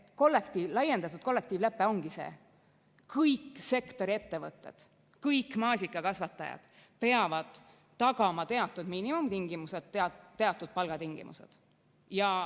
Laiendatud kollektiivlepe ongi see, et kõik sektori ettevõtted, kõik maasikakasvatajad peavad tagama teatud miinimumtingimused, teatud palgatingimused.